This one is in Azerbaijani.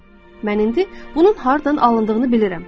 Mən indi bunun hardan alındığını bilirəm.